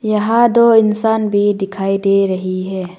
यहां दो इंसान भी दिखाई दे रही है।